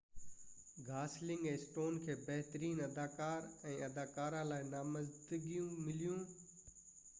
Gosling ۽ Stone کي بهترين اداڪار ۽ اداڪاره لاءِ نامزدگيون مليون